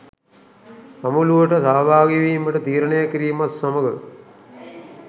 සමුළුවට සහභාගිවීමට තීරණය කිරීමත් සමඟ